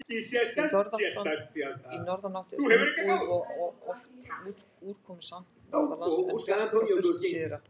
Í norðanátt er þungbúið og oft úrkomusamt norðanlands, en bjart og þurrt syðra.